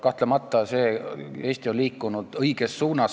Kahtlemata on Eesti liikunud õiges suunas.